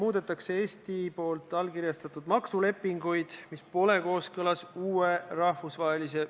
Lisaks öeldi, et reisiettevõtjal peaks selleks juhuks olema vabu vahendeid.